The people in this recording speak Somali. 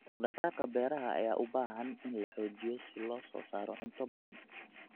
Dhaqdhaqaaqa beeraha ayaa u baahan in la xoojiyo si loo soo saaro cunto badan.